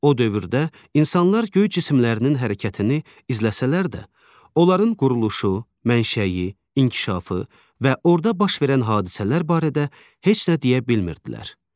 O dövrdə insanlar göy cisimlərinin hərəkətini izləsələr də, onların quruluşu, mənşəyi, inkişafı və orda baş verən hadisələr barədə heç nə deyə bilmirdilər.